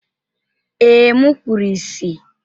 Ee, m kpuru ìsì.